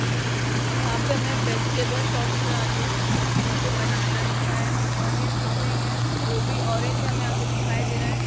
यहाँ पे हमें वेजिटेबल शॉप नज़र आ रही है| यहाँ पे बनाना दिख रहा है ओनियन दिख रही हैं गोभी ऑरेंज हमें यहाँ पर दिखाई दे रहा है ।